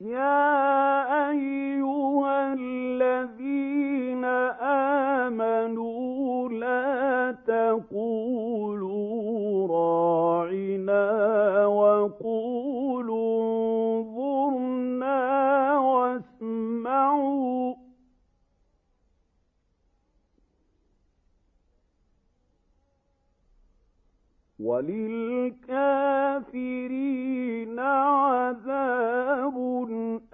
يَا أَيُّهَا الَّذِينَ آمَنُوا لَا تَقُولُوا رَاعِنَا وَقُولُوا انظُرْنَا وَاسْمَعُوا ۗ وَلِلْكَافِرِينَ عَذَابٌ